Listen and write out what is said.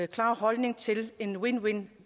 klare holdning til et win win